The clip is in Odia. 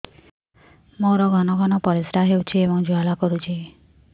ମୋର ଘନ ଘନ ପରିଶ୍ରା ହେଉଛି ଏବଂ ଜ୍ୱାଳା କରୁଛି